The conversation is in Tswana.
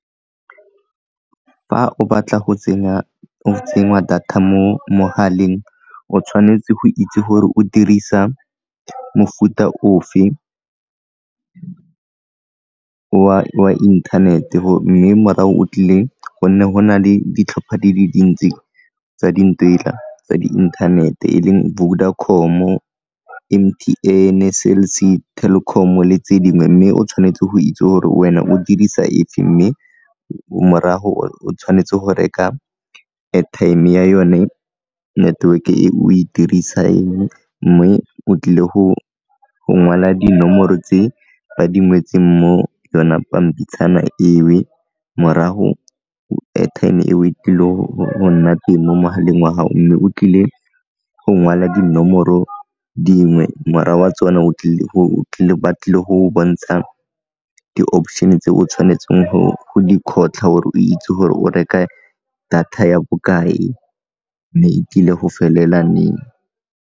Fa o batla go tsenya data mo mogaleng o tshwanetse go itse gore o dirisa mofuta ofe wa internet-e mme morago o tlile gonne go na le ditlhopha di le dintsi tsa tsa di inthanete e leng Vodacom-o, M_T_N-e, Cell C, Telkom le tse dingwe mme o tshwanetse go itse gore wena o dirisa efe mme morago o tshwanetse go reka airtime ya yone network e o e dirisang mme o tlile go ngwala dinomoro tse ba di ngwetseng mo yona pampitshana eo morago airtime eo e tlile go nna teng mo mogaleng wa gago mme o tlile go ngwala dinomoro dingwe morago wa tsone ba tlile go bontsha di-option tse o tshwanetseng go di kgotlha gore o itse gore o reka data ya bokae mme e tlile go felela neng.